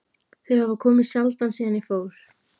Þau hafa komið sjaldan síðan ég fór.